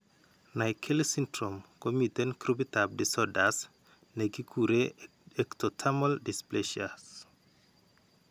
Naegeli syndrome ko miten grupitap disorders ne kikure ectodermal dysplasias.